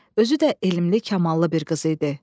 Özü də elmli, kamallı bir qız idi.